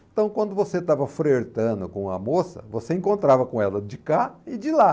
Então, quando você estava frertando com a moça, você encontrava com ela de cá e de lá.